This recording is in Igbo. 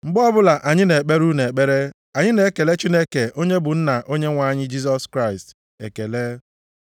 Mgbe ọbụla anyị na-ekpere unu ekpere anyị na-ekele Chineke onye bụ Nna Onyenwe anyị Jisọs Kraịst ekele.